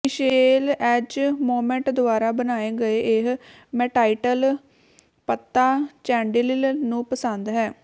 Michelle ਐਜਮੋਂਮੌਟ ਦੁਆਰਾ ਬਣਾਏ ਗਏ ਇਹ ਮੈਟਾਟੀਕਲ ਪੱਤਾ ਚੈਂਡਲਿਲ ਨੂੰ ਪਸੰਦ ਹੈ